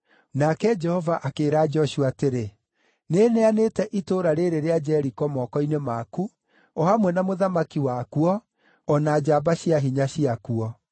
Nake Jehova akĩĩra Joshua atĩrĩ, “Nĩneanĩte itũũra rĩĩrĩ rĩa Jeriko moko-inĩ maku, o hamwe na mũthamaki wakuo, o na njamba cia hinya ciakuo.